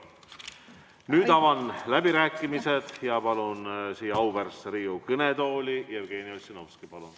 Nüüd avan läbirääkimised ja palun siia auväärsesse Riigikogu kõnetooli Jevgeni Ossinovski.